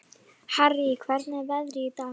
Harrý, hvernig er veðrið í dag?